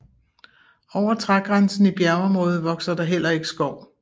Over trægrænsen i bjergområdet vokser der heller ikke skov